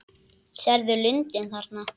Sérðu lundinn þarna?